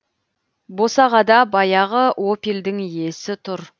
босағада баяғы опельдің иесі тұр